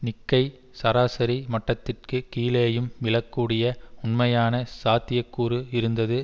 Nikkei சராசரி மட்டத்திற்கு கீழேயும் விழக்கூடிய உண்மையான சாத்தியக்கூறு இருந்தது